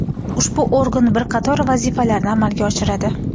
Ushbu organ bir qator vazifalarni amalga oshiradi.